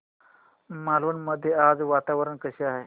मालवण मध्ये आज वातावरण कसे आहे